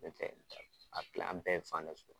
tɛ a tila bɛɛ fan da